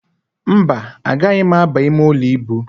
Mba, agaghị m ábà imeụlọ íbù.